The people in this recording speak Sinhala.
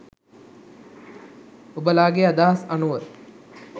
ඔබලාගෙ අදහස් අනුව